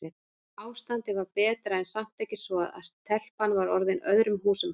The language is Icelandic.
Ástandið var betra en samt ekki svo að telpan væri orðin öðrum húsum hæf.